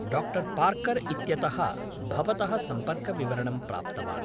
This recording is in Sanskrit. डाक्टर् पार्कर् इत्यतः भवतः सम्पर्कविवरणं प्राप्तवान्।